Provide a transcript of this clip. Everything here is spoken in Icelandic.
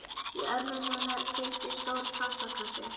Í örmum hennar hvíldi stór pappakassi.